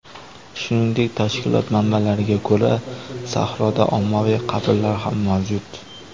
Shuningdek, tashkilot manbalariga ko‘ra, sahroda ommaviy qabrlar ham mavjud.